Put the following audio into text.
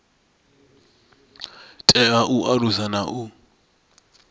tea u alusa na u